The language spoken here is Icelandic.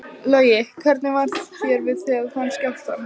Logi: Hvernig var þér við þegar þú fannst skjálftann?